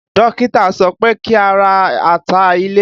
Dókítà sọ pé kí a ra ata ilẹ̀